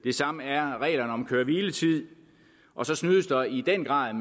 det samme er reglerne om køre hvile tid og så snydes der i den grad